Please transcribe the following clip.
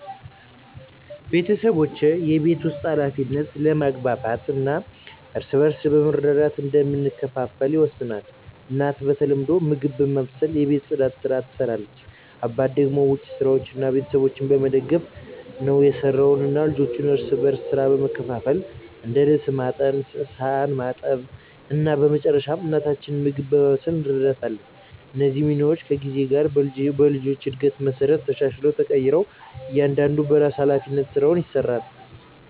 ቤተሰባችን የቤት ውስጥ ኃላፊነቶችን በመግባባት እና እርስ በርስ በመረዳዳት እንደምንከፋፈል ይወሰናል። እናት በተለምዶ ምግብ በማብሰልና የቤት ጽዳትን ስራ ትሰራለች አባት ደግሞ ውጭ ስራዎችን እና ቤተሰቡን በመደገፍ ነው የሰራው። እኛ ልጆችም እርስ በርስ ሥራ በመካፈል እንደ ልብስ ማጠብ ሳህን ማጠብ እና በመጨረሻ ለእናታችን ምግብ በማብሰል እንረዳታለን። እነዚህ ሚናዎች ከጊዜ ጋር በልጆች እድገት መሠረት ተሻሽለው ተቀይረዋል እያንዳንዱ በራሱ ሀላፊነት ስራውን ይሰራል።